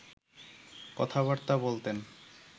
কথাবার্তা বলতেন